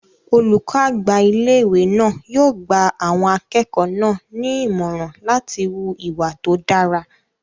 Olùkọ́ àgbà ilé-ìwé náà yóò gba àwọn akẹ́kọ̀ọ́ náà ní ìmọ̀ràn láti hu ìwà tó dára